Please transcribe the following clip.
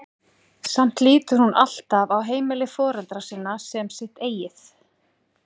Samt lítur hún alltaf á heimili foreldra sinna sem sitt eigið.